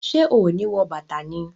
Ṣe o ni wọ bàtà ni?